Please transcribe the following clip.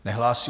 Nehlásí.